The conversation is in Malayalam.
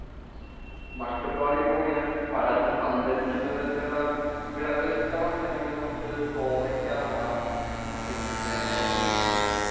മട്ടുപ്പാവിലിപ്പൊങ്ങനെ പടർന്ന് പന്തലിക്കുന്ന വിധത്തിലുള്ള വിളകൾ ഇഷ്ട്ടമാന്നുണ്ടെങ്കിൽ കോവക്ക നടാം.പിന്നെ